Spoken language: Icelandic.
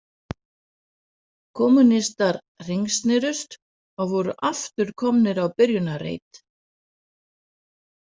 Kommúnistar hringsnerust og voru aftur komnir á byrjunarreit.